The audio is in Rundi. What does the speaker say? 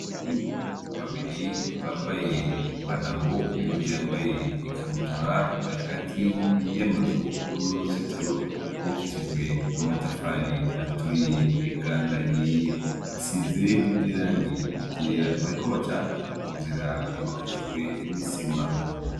Abahungu babiri bambaye ipantaro uyundi yambaye ikabutura bari hagati iyo amazuru n'uruzitiro gubokishijwe amatafari aturiye eka ndahie hasizire n'irangi gera bariko baca mu nzira yubakishijwe n'isima.